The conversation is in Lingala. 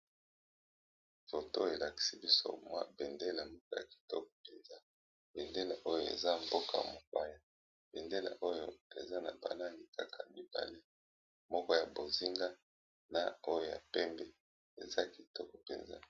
Photo elakisi biso béndélé moko ya kitoko, béndélé oyo ezali ya mboka songolo